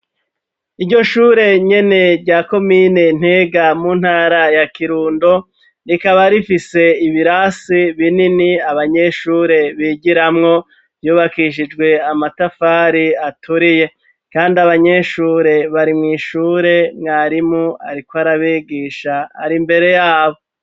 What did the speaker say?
Iryo shure nyene rya komine Ntega mu ntara ya Kirundo rikaba rifise ibirasi binini abanyeshure bigiramwo, vyubakishijwe amatafari aturiye . Kandi abanyeshure bari mw'ishure, mwarimu ariko arabigisha ari mbere y'abo.